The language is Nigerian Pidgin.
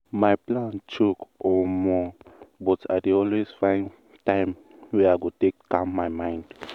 my plan choke omo!!! but i dey always find time wey i go take calm my mind.